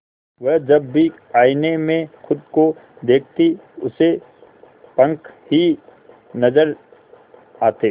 वह जब भी आईने में खुद को देखती उसे पंख ही नजर आते